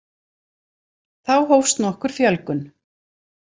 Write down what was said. Þá hófst nokkur fjölgun.